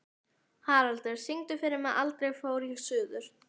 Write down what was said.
Haraldur, syngdu fyrir mig „Aldrei fór ég suður“.